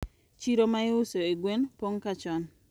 Chiro ma iuso e gwen pong` ga chon.